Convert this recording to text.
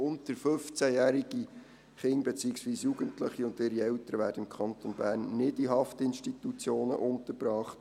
Unter 15-jährige Kinder, beziehungsweise Jugendliche und ihre Eltern, werden im Kanton Bern nicht in Haftinstitutionen untergebracht.